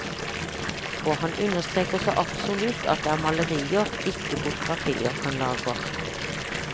Og han understreker så absolutt at det er malerier ikke fotografier han lager.